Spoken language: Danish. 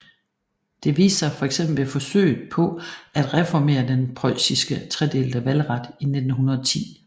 Det viste sig fx ved forsøget på at reformere den preussiske tredelte valgret i 1910